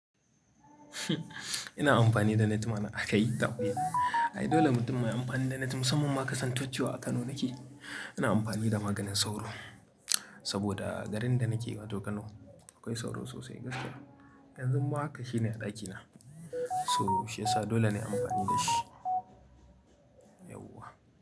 Ina amfani da net mana a kai tadin. Ai dole mutum mai amfani da net musamman masu kasantocciwa a Kano nake, ina amfani da maganin sauro saboda garin da nake wato Kano akwai sauro sosai gaskiya. Yanzu ma haka shine a ɗakina, so shi yasa dole na yi amfani da shi. Yauwa.